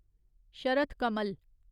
Sharath Kamal